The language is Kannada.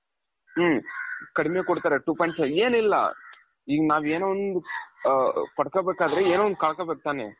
ಹು ಕಡಿಮೆ ಕೊಡ್ತಾರೆ two point five ಏನಿಲ್ಲ ಈಗ ನಾವು ಏನೋ ಒಂದು ಪಡ್ಕೋಬೇಕಾದ್ರೆ ಏನೋ ಒಂದು ಕಳ್ಕೊಬೇಕು ತಾನೆ.